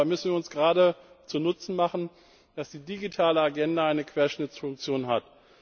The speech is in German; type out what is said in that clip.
Dabei müssen wir uns gerade zu Nutzen machen, dass die digitale Agenda eine Querschnittsfunktion hat.